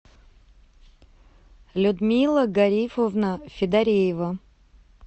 людмила гарифовна федореева